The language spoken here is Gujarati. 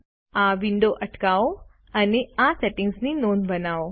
આ વિડિઓ અટકાવો અને આ સેટિંગ્સની નોંધ બનાવો